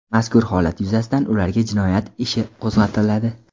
Mazkur holat yuzasidan ularga jinoyat ishi qo‘zg‘atiladi.